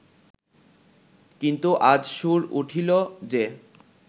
কিন্তু আজ সুর উঠিল যে